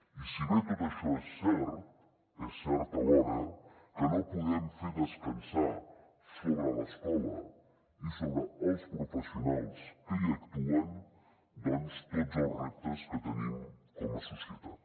i si bé tot això és cert és cert alhora que no podem fer descansar sobre l’escola i sobre els professionals que hi actuen doncs tots els reptes que tenim com a societat